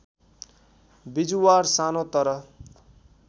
बिजुवार सानो तर